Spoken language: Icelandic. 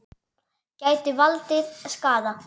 Gætu valdið skaða.